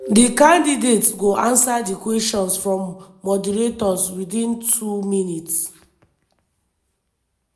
di candidates go answer di questions from moderators witin two minutes.